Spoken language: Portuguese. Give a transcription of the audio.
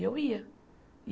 E eu ia.